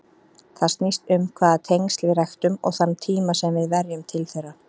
Það snýst um hvaða tengsl við ræktum og þann tíma sem við verjum til þeirra.